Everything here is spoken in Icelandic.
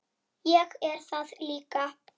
Ég er það líka.